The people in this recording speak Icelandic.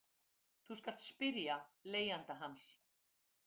Þú skalt spyrja leigjanda hans.